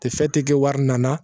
kɛ wari nana